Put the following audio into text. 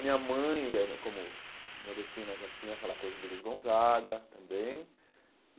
Minha mãe, era como Nordestina, já tinha aquela coisa do Luiz Gonzaga também.